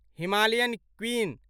Himalayan queen